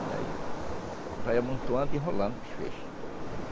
E aí, vai amontoando e enrolando os feixes.